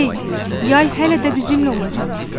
Hey, yay hələ də bizimlə olacaq.